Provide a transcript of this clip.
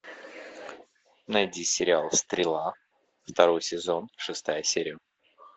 найди сериал стрела второй сезон шестая серия